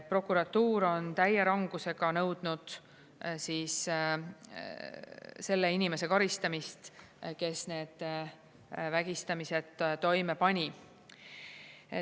Prokuratuur on täie rangusega nõudnud selle inimese karistamist, kes need vägistamised toime pani.